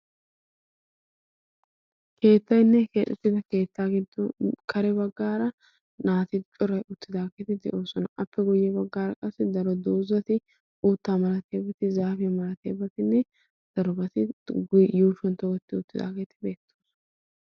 keettainne hekeexuttida keettaa giddon kare baggaara naati coray uttidaageeti de'oosona appe guyye baggaara qassi daro doozati uuttaa malatiyabati zaapiya malateebatinne darobati yuurshuwan togetti uttidaageeti beettoosona.